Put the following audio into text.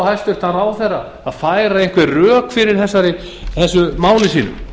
hæstvirtan ráðherra að færa einhver rök fyrir þessu máli